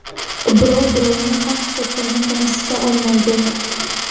Birov-birovni haq-huquqini kamsita olmaydi.